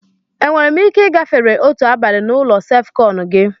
Enwere m ike ị gafere otu abalị na olu sef-kon gi?